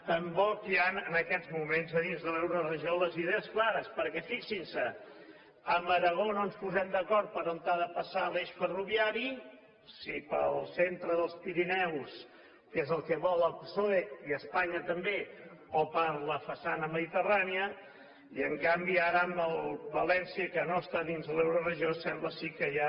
tampoc hi han en aquests moments a dins de l’euroregió les idees clares perquè fixin se amb aragó no ens posem d’acord per on ha de passar l’eix ferroviari si pel centre dels pirineus que és el que vol el psoe i espanya també o per la façana mediterrània i en canvi ara amb valència que no està dins l’euroregió sembla que sí que ja